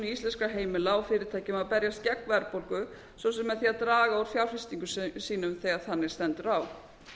íslenskra heimila og fyrirtækja að berjast gegn verðbólgu svo sem með því að draga úr fjárfestingum sínum þegar þannig stendur á